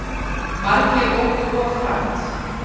Margir óku of hratt